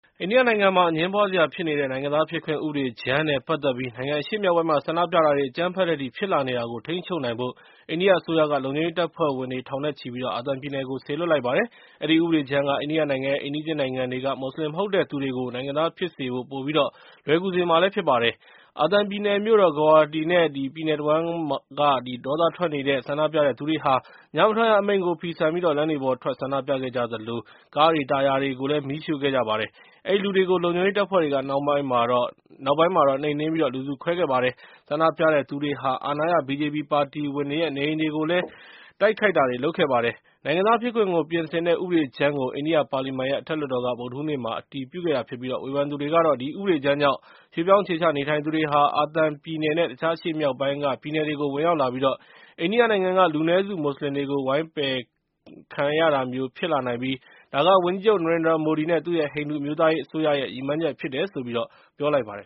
အိန္ဒိယနိုင်ငံမှာ အငြင်းပွားစရာဖြစ်နေတဲ့ နိုင်ငံသားဖြစ်ခွင့် ဥပဒေကြမ်းနဲ့ ပတ်သက်ပြီး နိုင်ငံအရှေ့မြောက်ပိုင်းမှာ ဆန္ဒပြတာတွေ အကြမ်းဖက်တဲ့အထိ ဖြစ်လာနေတာကို ထိန်းချုပ်နိုင်ဖို့ အိန္ဒိယအစိုးရက လုံခြုံရေး တပ်ဖွဲ့ဝင် ထောင်နဲ့ချီပြီး အာသံပြည်နယ်ကို စေလွှတ်လိုက်ပါတယ်။ အဲဒီ ဥပဒေကြမ်းက အိန္ဒိယနိုင်ငံရဲ့ အိမ်နီးချင်းနိုင်ငံတွေက မွတ်စလင် မဟုတ်တဲ့သူတွေကို နိုင်ငံသားဖြစ်စေဖို့ ပိုပြီးတော့ လွယ်ကူစေမှာဖြစ်ပါတယ်။ အာသံပြည်နယ် မြို့တော် Guwahati နဲ့ ပြည်နယ် တဝှမ်းက ဒေါသထွက်နေတဲ့ ဆန္ဒပြတဲ့သူတွေဟာ ညမထွက်ရ အမိန့်ကို ဖီဆန်ပြီး လမ်းတွေပေါ်ထွက် ဆန္ဒပြခဲ့ကြသလို၊ ကားတွေ၊ တာယာတွေကို မီးရှို့ခဲ့ကြပါတယ်။ အဲဒီလူတွေကို လုံခြုံရေးတပ်ဖွဲ့တွေက နောက်ပိုင်းမှာ နှိမ်နှင်းပြီး လူစု ခွဲခဲ့ပါတယ်။ ဆန္ဒပြတဲ့သူတွေဟာ အာဏာရ BJP ပါတီဝင်တွေရဲ့ နေအိမ်တွေကိုလည်း တိုက်ခိုက်ခဲ့ကြပါတယ်။ နိုင်ငံသားဖြစ်ခွင့်ကို ပြင်ဆင်တဲ့ ဥပဒေကြမ်းကို အိန္ဒိယပါလီမန်ရဲ့ အထက်လွှတ်တော်က ဗုဒ္ဓဟူးနေ့မှာ အတည်ပြုခဲ့တာဖြစ်ပြီး ဝေဖန်သူတွေကတော့ ဒီဥပဒေကြမ်းကြောင့် ရွှေ့ပြောင်း အခြေချနေထိုင်သူတွေဟာ အာသံပြည်နယ်နဲ့ တခြားအရှေ့မြောက်ပိုင်းက ပြည်နယ်တွေကို ဝင်ရောက်လာပြီးတော့ အိန္ဒိယနိုင်ငံက လူနည်းစုမွတ်စလင်တွေကို ဝိုင်းပယ်ခံရတာမျိုးဖြစ်လာနိုင်ပြီး ဒါက ဝန်ကြီးချုပ် နရင်ဒရာမိုဒီ နဲ့ သူ့ရဲ့ ဟိန္ဒိူအမျိုးသားရေး အစိုးရရဲ့ ရည်မှန်းချက်ဖြစ်တယ်လို့ ပြောကြားလိုက်ပါတယ်